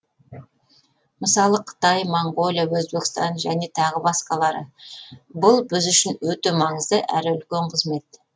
мысалы қытай моңғолия өзбекстан және тағы басқалары бұл біз үшін өте маңызды әрі үлкен қызмет